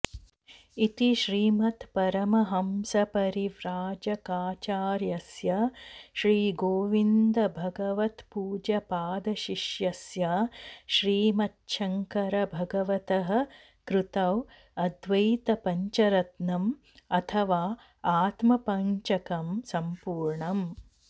इति श्रीमत्परमहंसपरिव्राजकाचार्यस्य श्रीगोविन्दभगवत्पूज्यपादशिष्यस्य श्रीमच्छङ्करभगवतः कृतौ अद्वैत पञ्चरत्नं अथवा आत्मपङ्चकं सम्पूर्णम्